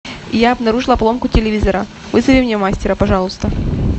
я обнаружила поломку телевизора вызови мне мастера пожалуйста